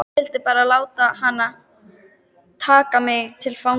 Ég vildi bara ekki láta taka mig til fanga